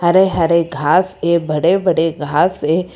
हरे हरे घास ये बड़े बड़े घास है।